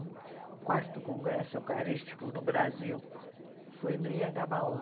O quarto congresso eucarístico no Brasil foi no Anhangabaú.